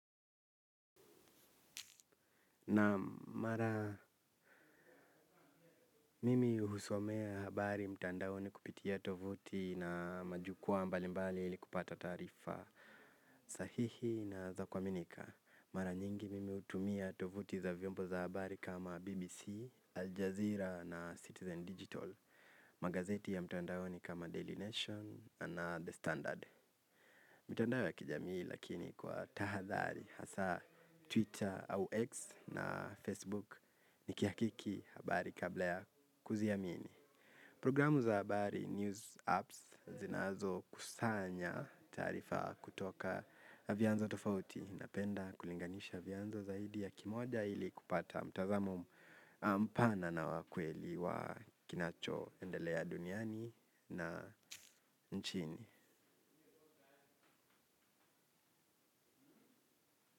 Naam, mara mimi husomea habari mtandaoni kupitia tovuti na majukwaa mbalimbali ili kupata taarifa sahihi na za kuaminika. Mara nyingine mimi hutumia tovuti za vyombo za habari kama BBC, Aljazeera na Citizen Digital. Magazeti ya mtandao ni kama Daily Nation na The Standard. Mitandao ya kijamii lakini kwa tahadhari hasa Twitter au X na Facebook nikihakiki habari kabla ya kuziamini. Programu za habari News Apps zinazo kusanya taarifa kutoka vyanzo tofauti. Napenda kulinganisha vyanzo zaidi ya kimoja ili kupata mtazamo mpana na wa kweli wa kinacho endelea duniani na nchini.